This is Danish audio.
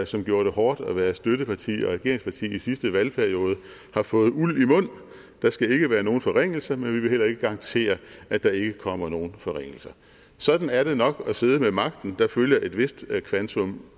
som gjorde det hårdt at være støtteparti og regeringsparti i sidste valgperiode har fået uld i mund der skal ikke være nogen forringelser men man vil heller ikke garantere at der ikke kommer nogen forringelser sådan er det nok at sidde med magten der følger et vist kvantum